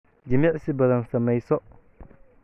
jimicsi badan sameyso